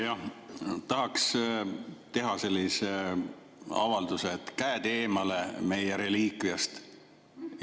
Jah, tahaks teha sellise avalduse, et käed eemale meie reliikviast.